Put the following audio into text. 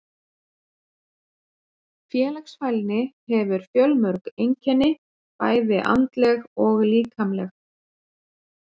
Félagsfælni hefur fjölmörg einkenni, bæði andleg og líkamleg.